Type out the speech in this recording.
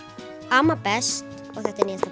amma best og þetta er nýjasta